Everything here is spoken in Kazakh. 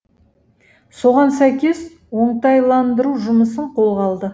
соған сәйкес оңтайландыру жұмысын қолға алды